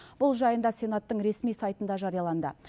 бұл жайында сенаттың ресми сайтында жарияланды